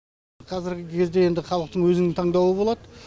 қазіргі кезде енді халықтың өзінің таңдауы болады